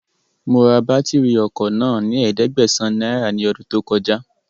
Mo ra bátìrì ọkọ̀ náà fún ẹ̀ẹ́dẹ́gbàsán náírà ní ọdún tó kọjá